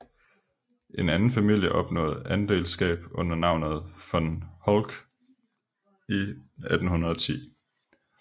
En anden familie opnåede adelskab under navnet von Holck i 1810